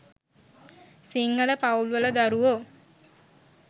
සිංහල පවුල් වල දරුවෝ